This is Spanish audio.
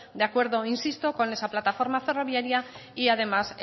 de acuerdo insisto con esa plataforma ferroviaria y además